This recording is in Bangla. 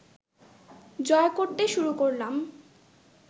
জয় করতে শুরু করলাম